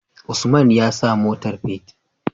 Usman ya sawa motar fetir?